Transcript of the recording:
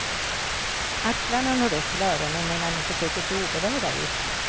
Axlarna når upp till öronen medan ni försöker se oberörda ut.